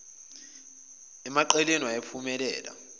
emaqeleni waye waphumela